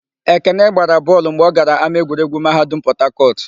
Ekene gbara bọọlụ mgbe ọ gara ámáegwuregwu Mahadum Pọtakọtụ.